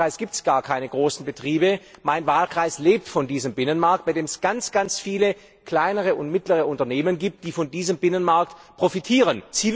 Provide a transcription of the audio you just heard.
In meinem Wahlkreis gibt es gar keine großen Betriebe. Mein Wahlkreis lebt von diesem Binnenmarkt, bei dem es ganz viele kleine und mittlere Unternehmen gibt, die von diesem Binnenmarkt profitieren.